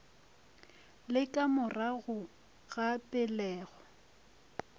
le ka morago ga pelego